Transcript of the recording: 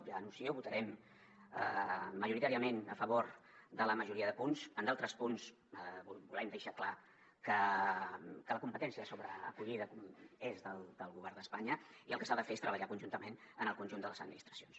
ja ho anuncio votarem majoritàriament a favor de la majoria de punts en d’altres punts volem deixar clar que la competència sobre acollida és del govern d’espanya i el que s’ha de fer és treballar conjuntament amb el conjunt de les administracions